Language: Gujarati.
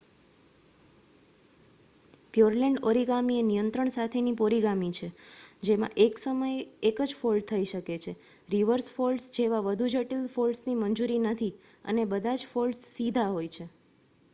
પ્યોરલેન્ડ ઓરિગામિ એ નિયંત્રણ સાથેની ઓરિગામિ છે જેમાં એક સમયે એક જ ફોલ્ડ થઈ શકે છે રિવર્સ ફોલ્ડ્સ જેવા વધુ જટિલ ફોલડસની મંજૂરી નથી, અને બધા જ ફોલ્ડમ સીધા હોય છે